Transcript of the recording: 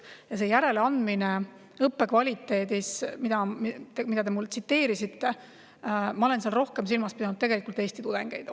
Ja selles järeleandmise kohta õppe kvaliteedis, mida te mulle tsiteerisite, ma pidasin tegelikult rohkem silmas Eesti tudengeid.